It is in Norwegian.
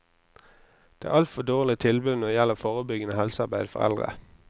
Det er altfor dårlige tilbud når det gjelder forebyggende helsearbeid for eldre.